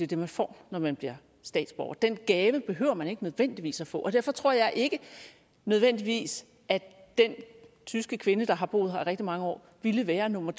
det man får når man bliver statsborger den gave behøver man ikke nødvendigvis at få derfor tror jeg ikke nødvendigvis at den tyske kvinde der har boet her i rigtig mange år ville være nummer